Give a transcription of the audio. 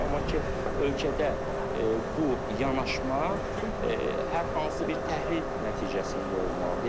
amma ki, ölkədə bu yanaşma hər hansı bir təhlil nəticəsində olmalıdı.